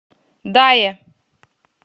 дае